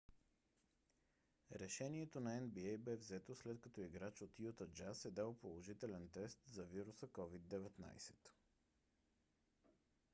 решението на нба бе взето след като играч от юта джаз е дал положителен тест за вируса covid-19